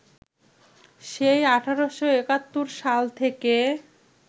সেই ১৮৭১ সাল থেকে